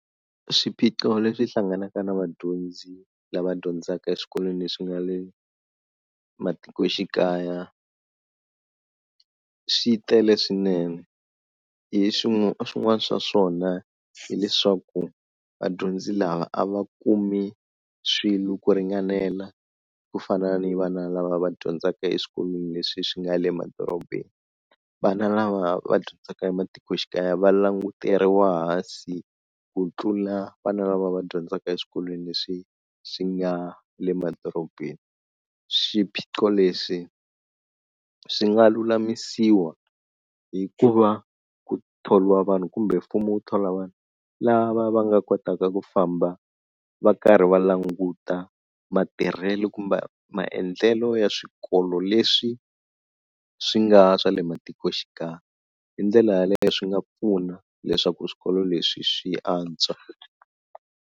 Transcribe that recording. Swiphiqo leswi hlanganaka na vadyondzi lava dyondzaka eswikolweni leswi nga le matikoxikaya swi tele swinene, hi swin'wana swa swona hileswaku vadyondzi lava a va kumi swilo ku ringanela ku fana ni vana lava va dyondzaka eswikolweni leswi swi nga le madorobeni, vana lava va dyondzaka ematikoxikaya va languteriwa hansi ku tlula vana lava va dyondzaka eswikolweni leswi swi nga le madorobeni, swiphiqo leswi swi nga lulamisiwa hi ku va ku thoriwa vanhu kumbe mfumo wu thola vanhu lava va nga kotaka ku famba va karhi va languta matirhelo kumbe maendlelo ya swikolo leswi swi nga swa le matikoxikaya, hi ndlela yaleyo swi nga pfuna leswaku swikolo leswi swi antswa.